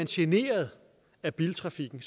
generet af biltrafikken